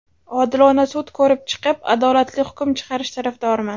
Odilona sud ko‘rib chiqib, adolatli hukm chiqarish tarafdoriman.